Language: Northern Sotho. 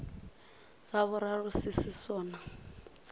sa boraro se se sona